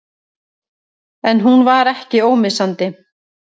En hún var ekki ómissandi.